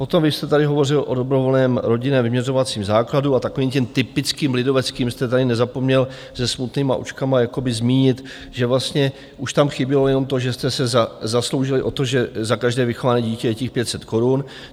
Potom vy jste tady hovořil o dobrovolném rodinném vyměřovacím základu a takovým tím typickým lidoveckým jste tady nezapomněl se smutnýma očkama jakoby zmínit, že vlastně už tam chybělo jenom to, že jste se zasloužili o to, že za každé vychované dítě je těch 500 korun.